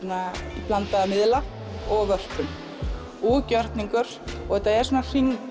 í blandaða miðla og vörpun og gjörningur þetta er svona hringur